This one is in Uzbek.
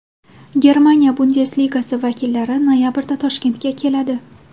Germaniya Bundesligasi vakillari noyabrda Toshkentga keladi.